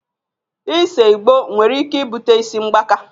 Ise Igbo nwere ike ibute isi mgbaka